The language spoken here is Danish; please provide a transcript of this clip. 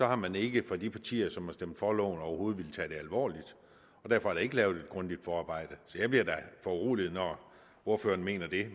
har man ikke fra de partiers side som har stemt for loven overhovedet villet tage det alvorligt og derfor er der ikke blevet lavet et grundigt forarbejde så jeg bliver da foruroliget når ordføreren mener det